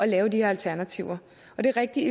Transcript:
lave de her alternativer og det er rigtigt